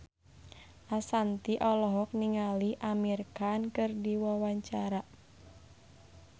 Ashanti olohok ningali Amir Khan keur diwawancara